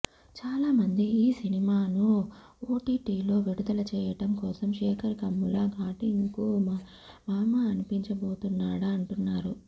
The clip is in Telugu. చాలా మంది ఈ సినిమాను ఓటీటీలో విడుదల చేయడం కోసం శేఖర్ కమ్ముల షూటింగ్ను మమా అనిపించబోతున్నాడా అంటున్నారు